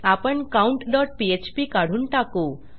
आपण countपीएचपी काढून टाकू